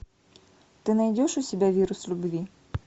ты найдешь у себя вирус любви